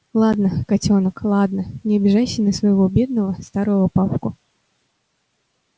ладно котёнок ладно не обижайся на своего бедного старого папку